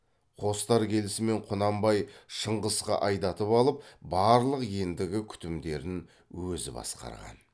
қостар келісімен құнанбай шыңғысқа айдатып алып барлық ендігі күтімдерін өзі басқарған